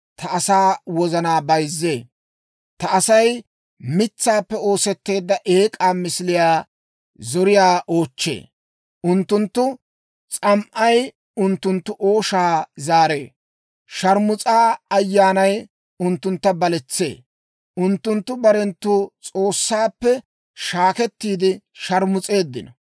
Ta Asay mitsaappe oosetteedda eek'aa misiliyaa zoriyaa oochchee; unttunttu s'am"ay unttunttu ooshaa zaaree. Shaarmus'a ayyaanay unttuntta baletsee; unttunttu barenttu S'oossaappe shaakettiide sharmus'eeddino.